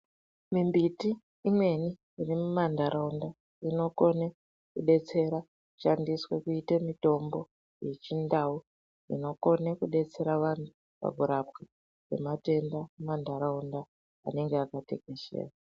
Mimbiti imweni iri mumandaraunda inokona kudetsera kushandiswa kuita mitomno yechindau inokona kudetsera vantu kurapwa kwematenda mundaraunda anenge akatekeshera.